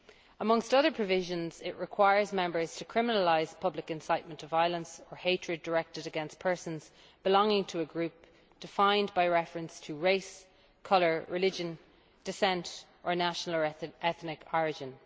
Amongst other provisions, it requires Member States to criminalise public incitement to violence or hatred directed against persons belonging to a group defined by reference to race, colour, religion, descent or national or ethnic origin.